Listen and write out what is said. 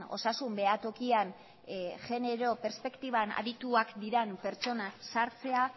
osasun behatokian genero perspektiban adituak diren pertsonak sartzea